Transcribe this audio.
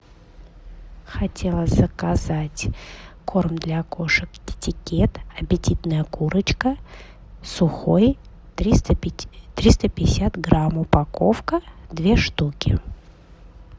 хотела заказать корм для кошек китекат аппетитная курочка сухой триста пятьдесят грамм упаковка две штуки